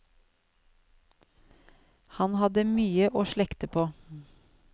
Han hadde mye å slekte på.